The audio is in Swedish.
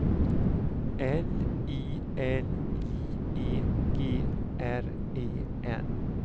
L I L J E G R E N